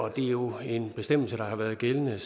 og det er jo en bestemmelse der har været gældende